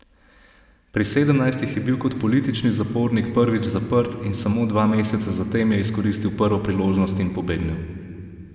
Pri sedemnajstih je bil kot politični zapornik prvič zaprt in samo dva meseca zatem je izkoristil prvo priložnost in pobegnil.